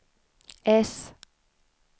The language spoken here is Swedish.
S